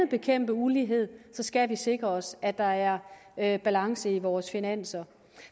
bekæmpe ulighed skal vi sikre os at der er er balance i vores finanser